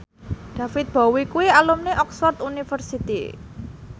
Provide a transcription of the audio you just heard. David Bowie kuwi alumni Oxford university